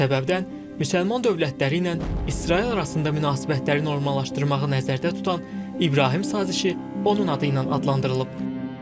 Bu səbəbdən müsəlman dövlətləri ilə İsrail arasında münasibətləri normallaşdırmağı nəzərdə tutan İbrahim sazişi onun adı ilə adlandırılıb.